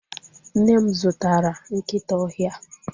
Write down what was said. Nne m zụtara nkịta ọhịa